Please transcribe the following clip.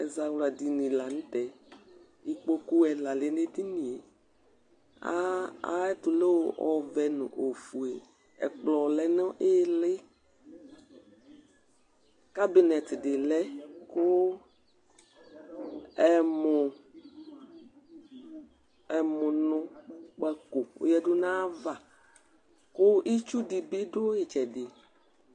Azawla dìní la ntɛ Ikpoku ɛla lɛ nʋ ɛdiní ye Iteno ɔvɛ nʋ ɔfʋe Ɛkplɔ lɛ nʋ ìlí Kabinɛt di lɛ kʋ ɛmʋnu kpako ɔyadu nʋ ava kʋ itsu dìní du itsɛdi